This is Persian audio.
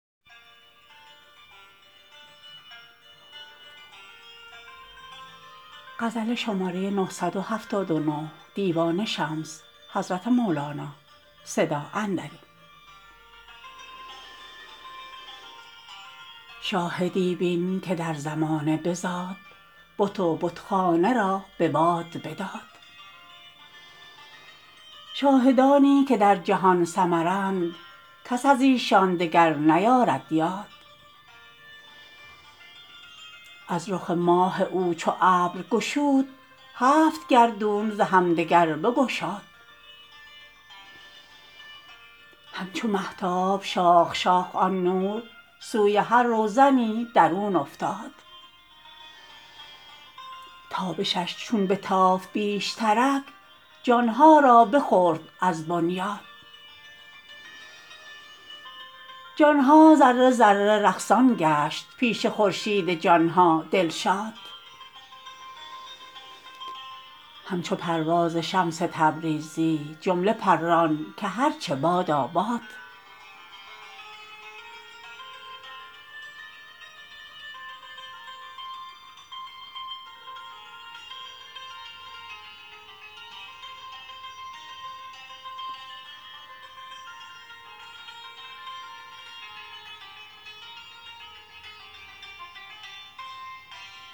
شاهدی بین که در زمانه بزاد بت و بتخانه را به باد بداد شاهدانی که در جهان سمرند کس از ایشان دگر نیارد یاد از رخ ماه او چو ابر گشود هفت گردون ز همدگر بگشاد همچو مهتاب شاخ شاخ آن نور سوی هر روزنی درون افتاد تابشش چون بتافت بیشترک جان ها را بخورد از بنیاد جان ها ذره ذره رقصان گشت پیش خورشید جان ها دلشاد همچو پرواز شمس تبریزی جمله پران که هر چه بادا باد